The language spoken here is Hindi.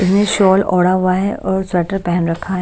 इसने शॉल ओढ़ा हुआ है और स्वेटर पहन रखा है।